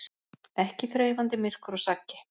Ekki þreifandi myrkur og saggi.